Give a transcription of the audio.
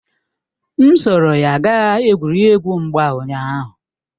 M soro ya gaa egwuregwu mgba ụnyaahụ